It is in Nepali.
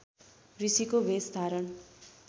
ऋषिको भेष धारण